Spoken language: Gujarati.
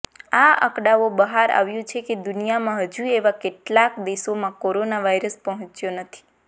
આ આંકડાંઓ બહાર આવ્યું છે કે દુનિયામાં હજુ એવા કેટલાક દેશોમાં કોરોના વાયરસ પહોંચ્યો નથી